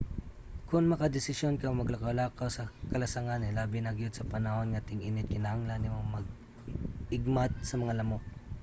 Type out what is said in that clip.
kon makadesisyon kang maglakaw-lakaw sa kalasangan hilabi na gyud sa panahon nga ting-init kinahanglan nimo mag-igmat sa mga lamok